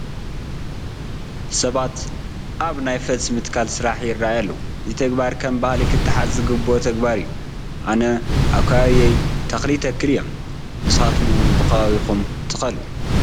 ሰባት ኣብ ናይ ፈልሲ ምትካል ስራሕ ይርአዩ ኣለዉ፡፡ እዚ ተግባራ ከም ባህሊ ክተሓዝ ዝግብኦ ተግባር እዩ፡፡ ኣነ ኣብ ከባቢየ ተኽሊ ይተኽል እየ፡፡ ንስኻትኩም እውን ብኸባቢኹም ትኸሉ፡፡